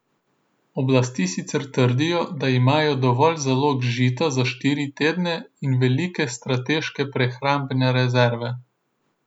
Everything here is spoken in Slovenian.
Oblasti sicer trdijo, da imajo dovolj zalog žita za štiri tedne in velike strateške prehrambene rezerve.